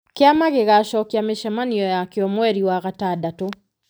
Kĩama gĩgaacokia mĩcemanio ya kĩo mweri wa gatandatũ.